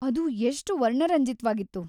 ಅದು ಎಷ್ಟ್‌ ವರ್ಣರಂಜಿತ್ವಾಗಿತ್ತು.